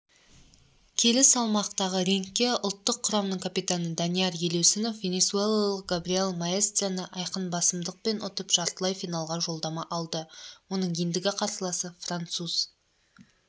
келі салмақтағы рингке ұлттық құраманың капитаны данияр елеусінов венесуэлалық габриэль маэстраны айқынбасымдықпен ұтып жартылай финалға жолдама алды оның ендігі қарсыласы француз